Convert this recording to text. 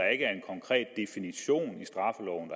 er en konkret definition i straffeloven